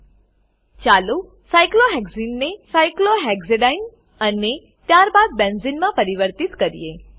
ચાલો સાયક્લોહેક્સને સાયક્લોહેક્ઝીન ને સાયક્લોહેક્સાડીને સાયક્લોહેક્ઝેડાઈન અને ત્યારબાદ બેન્ઝેને બેન્ઝીન માં પરિવર્તિત કરીએ